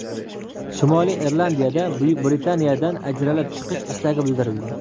Shimoliy Irlandiyada Buyuk Britaniyadan ajralib chiqish istagi bildirildi.